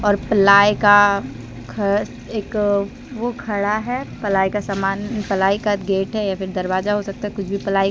और प्लाई का घ एक ओ खड़ा है प्लाई का सामान प्लाई का गेट है या फिर दरवाजा हो सकता कुछ भी प्लाई का--